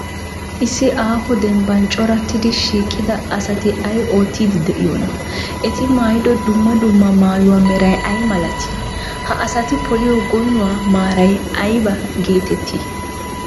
Issi aaho dembban corattidi shiiqida asati ay oottiiddi de'iyoonaa? Eti maayido dumma dumma maayuwa meray ay malatii? Ha asati poliyo goynuwa maaray ayba geetettii?